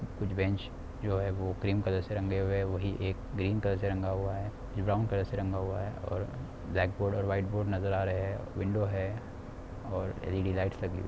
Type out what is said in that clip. कुछ बेंच जो है वो क्रीम कलर रंगे हुए है वो ही एक ग्रीन कलर से रंगा हुआ है जो ब्राउन कलर से रंगा हुआ है और ब्लैक बोर्ड और वाइट बोर्ड नजर आ रहे है विंडो है और एल_इ_डी लाइट्स लगी हुई है।